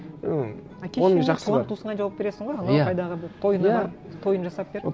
і әке шешеңе туған туысыңа жауап бересің ғой анау қайдағы бір тойына барып тойын жасап беріп